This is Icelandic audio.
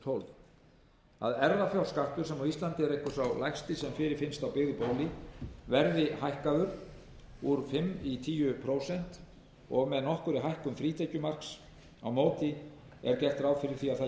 og tólf erfðafjárskattur sem á íslandi er einhver sá lægsti sem fyrirfinnst á byggðu bóli verður hækkaður úr fimm prósent í tíu prósent og með nokkurri hækkun frítekjumarks á móti er gert ráð fyrir því að